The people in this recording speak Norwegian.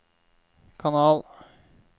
kanal